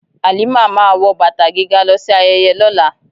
Halima máa wọ bàtà gíga lọ sí ayẹyẹ lọla.